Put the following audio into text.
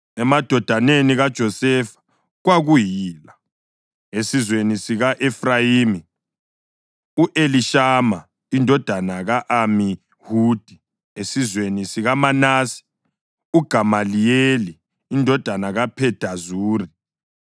emadodaneni kaJosefa kwakuyila: esizweni sika-Efrayimi, u-Elishama indodana ka-Amihudi; esizweni sikaManase, uGamaliyeli indodana kaPhedazuri;